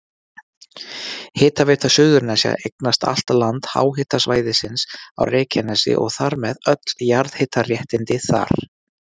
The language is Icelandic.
Hitaveita Suðurnesja eignast allt land háhitasvæðisins á Reykjanesi og þar með öll jarðhitaréttindi þar.